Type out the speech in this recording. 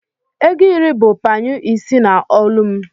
ego iri bu panyụ ise na olu m